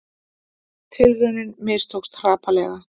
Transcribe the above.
Tilraunin mistókst hrapalega